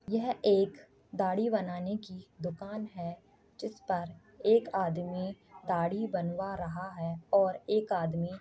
यह एक दाढ़ी बनाने की दुकान है जिस पर एक आदमी दाढ़ी बनवा रहा है और एक आदमी--